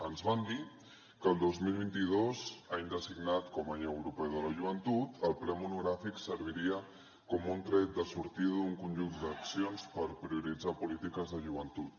ens van dir que el dos mil vint dos any designat com a any europeu de la joventut el ple monogràfic serviria com un tret de sortida d’un conjunt d’accions per prioritzar polítiques de joventut